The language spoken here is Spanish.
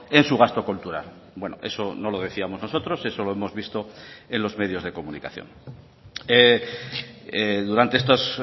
en su gasto cultural bueno eso no lo decíamos nosotros eso lo hemos visto en los medios de comunicación durante estas